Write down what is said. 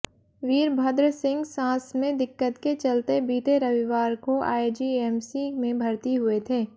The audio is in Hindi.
वीरभद्र सिंह सांस में दिक्कत के चलते बीते रविवार को आईजीएमसी में भर्ती हुए थे